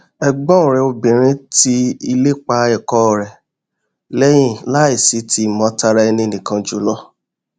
ẹgbọn rẹ obìnrin ti ìlépa ẹkọ rẹ lẹyìn láìsí ti ìmọ tara ẹninìkan jùlọ